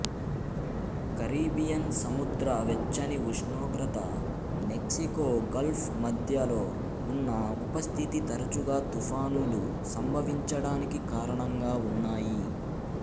Caribbean సముద్ర వెచ్చని ఉష్ణోగ్రత మెక్సికో గల్ఫ్ మద్యలో ఉన్న ఉపస్థితి తరచుగా తుఫానులు సంభవించడానికి కారణంగా ఉన్నాయి